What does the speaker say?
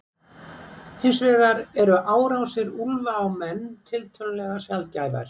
hins vegar eru árásir úlfa á menn tiltölulega sjaldgæfar